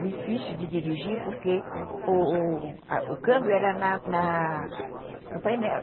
Difícil de dirigir porque o o câmbio era no painel.